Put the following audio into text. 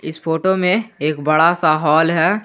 इस फोटो में एक बड़ा सा हॉल है।